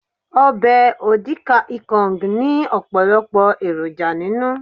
Obè odi kan ikong ní òpòlòpò èròjà ninu